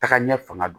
Taga ɲɛ fanga don